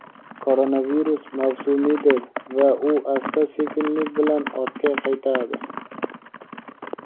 koronavirus mavsumiydir va u asta-sekinlik bilan ortga qaytadi.